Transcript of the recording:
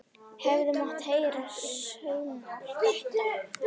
Hefði mátt heyra saumnál detta.